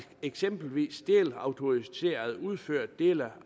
eksempelvis delautoriserede udfører dele